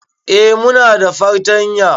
Eh muna da fartanya